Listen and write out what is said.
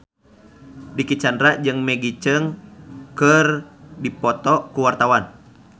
Dicky Chandra jeung Maggie Cheung keur dipoto ku wartawan